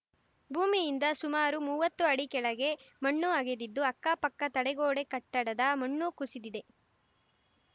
ಭೂಮಿಯಿಂದ ಸುಮಾರು ಮುವತ್ತು ಅಡಿ ಕೆಳಗೆ ಮಣ್ಣು ಅಗೆದಿದ್ದು ಅಕ್ಕಪಕ್ಕ ತಡೆಗೋಡೆ ಕಟ್ಟಡದ ಮಣ್ಣು ಕುಸಿದಿದೆ